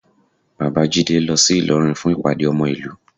Bàbá Jídé lọ sí Ìlọrin fún ìpàdé ọmọ ìlú